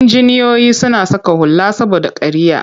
Injiniyoyi suna saka hula saboda kariya.